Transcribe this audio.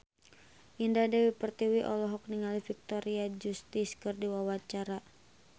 Indah Dewi Pertiwi olohok ningali Victoria Justice keur diwawancara